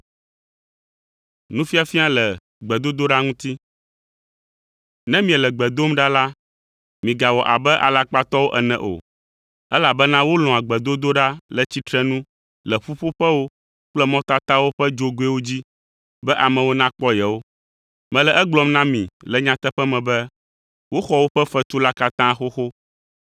“Ne miele gbe dom ɖa la, migawɔ abe alakpatɔwo ene o, elabena wolɔ̃a gbedodoɖa le tsitrenu le ƒuƒoƒewo kple mɔtatawo ƒe dzogoewo dzi, be amewo nakpɔ yewo. Mele egblɔm na mi le nyateƒe me be woxɔ woƒe fetu la katã xoxo.